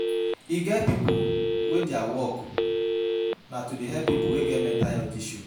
E get pipo wey their work na to help pipo wey get mental health issues.